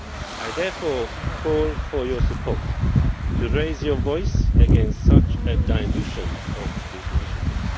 I therefore call for your support to raise your voice against such a dilution of the initiative.